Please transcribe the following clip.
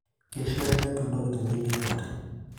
Keishaa nepiii intokin enkiremore